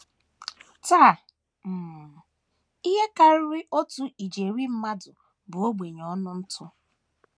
Taa, um ihe karịrị otu ijeri mmadụ bụ ogbenye ọnụ ntụ.